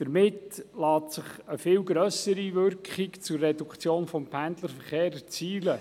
Dadurch lässt sich eine viel grössere Wirkung zur Reduktion des Pendlerverkehrs erzielen.